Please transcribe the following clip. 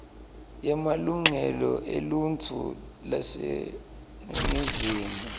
yemalungelo eluntfu yaseningizimu